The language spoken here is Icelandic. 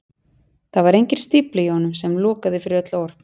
Það var engin stífla í honum sem lokaði fyrir öll orð.